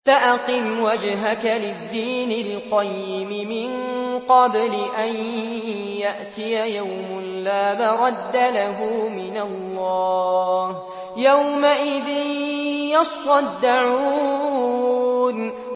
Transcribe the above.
فَأَقِمْ وَجْهَكَ لِلدِّينِ الْقَيِّمِ مِن قَبْلِ أَن يَأْتِيَ يَوْمٌ لَّا مَرَدَّ لَهُ مِنَ اللَّهِ ۖ يَوْمَئِذٍ يَصَّدَّعُونَ